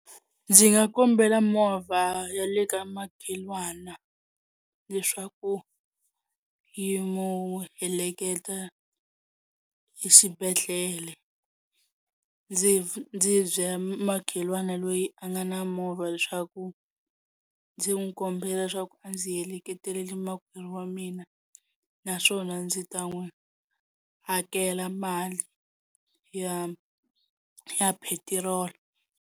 Ndzi nga kombela movha ya le ka makhelwana leswaku yi n'wu heleketa exibedhlele, ndzi ndzi byela makhelwani loyi a nga na movha leswaku ndzi n'wi kombela leswaku a ndzi heleketeleli makwerhu wa mina naswona ndzi ta n'wi hakela mali ya ya petiroli.